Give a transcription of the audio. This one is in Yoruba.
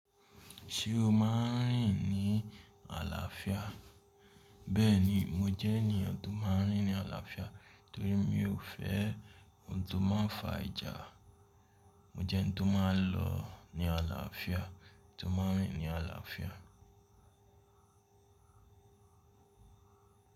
Ṣé o máa ń rìn ní àlàáfíà? Bẹ́ẹ̀ni, mo jẹ́ ènìyàn tó máa ń rìn ní àlàáfíà torí mi ò fẹ́ ohun tó máa ń fa ìjà. Mo jẹ́ eni tó máa ń lọ ní àlàáfíà, tó máa ń rìn ní àlàáfíà.